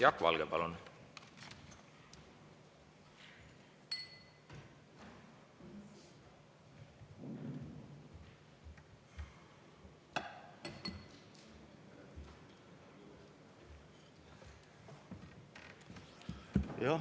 Jaak Valge, palun!